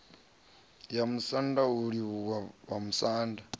ya musanda u livhuwa vhamusanda